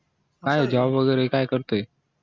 काय ये job वैगेरे काय करतो ये